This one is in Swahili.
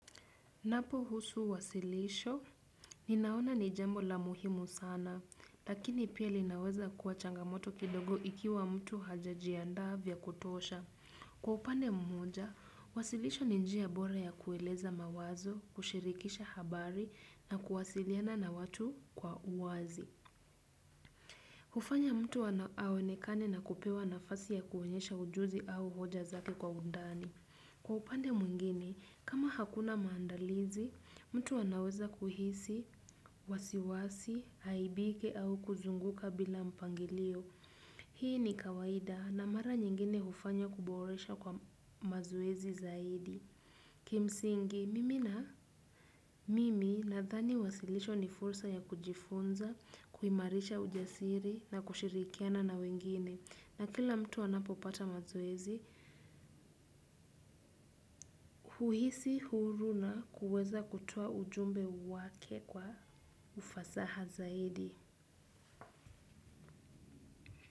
Napo husu wasilisho, ninaona ni jambo la muhimu sana, lakini pia linaweza kuwa changamoto kidogo ikiwa mtu hajajiandaa vya kutosha. Kwa upande mmoja, wasilisho ni njia bora ya kueleza mawazo, kushirikisha habari na kuwasiliana na watu kwa uwazi. Hufanya mtu aonekane na kupewa nafasi ya kuonyesha ujuzi au hoja zake kwa undani. Kwa upande mwengine, kama hakuna maandalizi, mtu anaweza kuhisi, wasiwasi, haibike au kuzunguka bila mpangilio. Hii ni kawaida na mara nyingine hufanya kuboresha kwa mazoezi zaidi. Kimsingi, mimi na mimi nadhani wasilisho ni fursa ya kujifunza, kuimarisha ujasiri na kushirikiana na wengine. Na kila mtu anapopata mazoezi, huhisi huru na kuweza kutoa ujumbe wake kwa ufasaha zaidi.